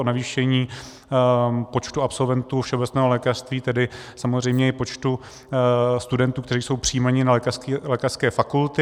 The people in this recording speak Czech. O navýšení počtu absolventů všeobecného lékařství, tedy samozřejmě i počtu studentů, kteří jsou přijímáni na lékařské fakulty.